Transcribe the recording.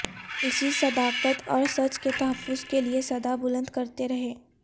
اسی صداقت اور سچ کے تحفظ کے لئے صدا بلند کرتے رہے